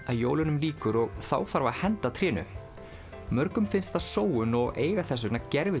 að jólunum lýkur og þá þarf að henda trénu mörgum finnst það sóun og eiga þess vegna